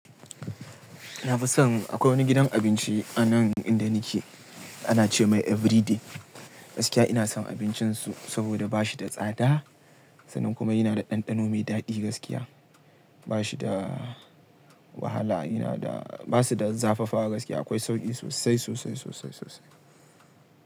Na fi son akwai wani gidan abinci a nan inda nike, ana ce mai "Everyday". Gaskiya ina son abincinsu, saboda ba shi da tsada sannan kuma yana da ɗanɗano mai daɗi gaskiya. Ba shi da wahala, yana da, ba su da zafafa gaskiya akwai sauƙi sosai, sosai, sosai, sosai.